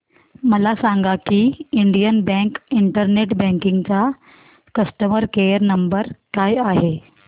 मला सांगा की इंडियन बँक इंटरनेट बँकिंग चा कस्टमर केयर नंबर काय आहे